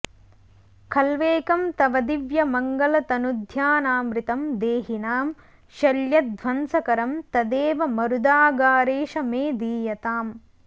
खल्वेकं तव दिव्यमङ्गलतनुध्यानामृतं देहिनां शल्यध्वंसकरं तदेव मरुदागारेश मे दीयताम्